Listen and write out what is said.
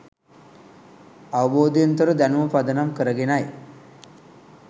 අවබෝධයෙන් තොර දැනුම පදනම් කරගෙනයි